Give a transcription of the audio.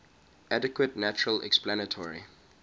adequate natural explanatory